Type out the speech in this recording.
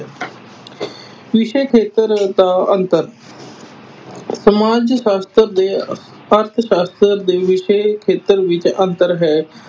ਵਿਸ਼ੇ ਖੇਤਰ ਦਾ ਅੰਤਰ ਸਮਾਜ ਸ਼ਾਸਤਰ ਦੇ ਅਰਥ ਸ਼ਾਸਤਰ ਦੇ ਵਿਸ਼ੇ ਖੇਤਰ ਵਿਚ ਅੰਤਰ ਹੈ।